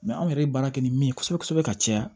anw yɛrɛ ye baara kɛ ni min ye kosɛbɛ kosɛbɛ ka caya